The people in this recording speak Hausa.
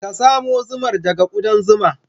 Ka samo zumar daga ƙudan zuma.